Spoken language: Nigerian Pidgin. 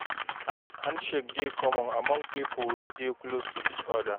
Handshake dey common among pipo wey dey close to each oda